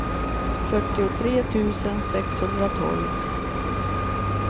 fyrtiotre tusen sexhundratolv